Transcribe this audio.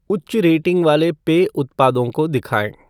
उच्च रेटिंग वाले पेय उत्पादों को दिखाएँ।